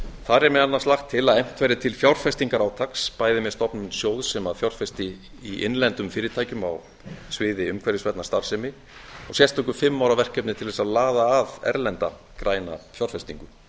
þar er meðal annars lagt til að efnt verði til fjárfestingarátaks bæði með stofnun sjóðs sem fjárfesti í innlendum fyrirtækjum á sviði umhverfisvænnar starfsemi og sérstöku fimm ára verkefni til þess að laða að erlenda græna fjárfestingu